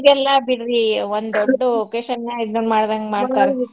ಈಗೆಲ್ಲಾ ಬಿಡ್ರಿ ಒಂದೊಂದ್ occasion ನ್ಯಾಗ ಇದನ್ ಮಾಡ್ದಂಗ್ ಮಾಡ್ತಾರ .